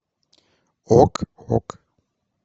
ок ок